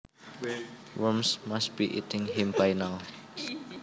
Worms must be eating him by now